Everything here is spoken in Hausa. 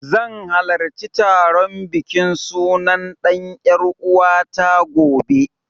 Zan halarci taron bikin sunan ɗan ƴaruwata, gobe.